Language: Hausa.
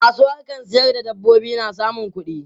Masu harkan sayar da dabbobi na samun kuɗi.